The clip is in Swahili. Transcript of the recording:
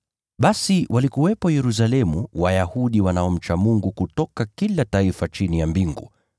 Basi walikuwepo Yerusalemu Wayahudi wanaomcha Mungu kutoka kila taifa chini ya mbingu.